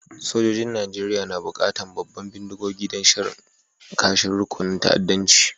Sojoji'n Nijeriya na bukatan babban bindigogi don shan kashin rukunin ta'addancin.